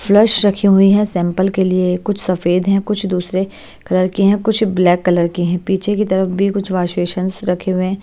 Flush रखी हुई है सैंपल के लिए कुछ सफेद हैं कुछ दूसरे कलर की हैं कुछ ब्लैक कलर की हैं पीछे की तरफ भी कुछ वाश -वेशंस रखे हुए हैं।